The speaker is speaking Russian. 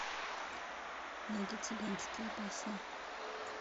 найди цыганские песни